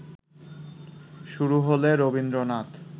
শুরু হলে রবীন্দ্রনাথ